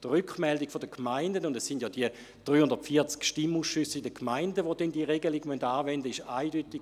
Die Rückmeldung der Gemeinden – es sind nämlich die 340 Stimmausschüsse in den Gemeinden, die diese Regelung anwenden müssten – war eindeutig.